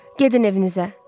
Gedin evinizə.